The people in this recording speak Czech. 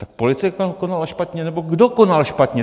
Tak policie tam konala špatně, nebo kdo konal špatně?